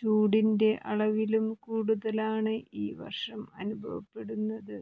ചൂടിന്റെ അളവിലും കൂടുതലാണ് ഈ വര്ഷം അനുഭവപ്പെടുന്നത്